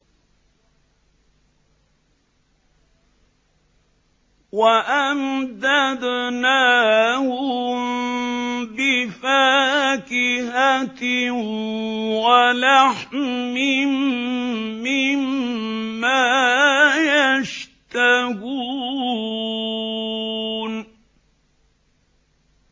وَأَمْدَدْنَاهُم بِفَاكِهَةٍ وَلَحْمٍ مِّمَّا يَشْتَهُونَ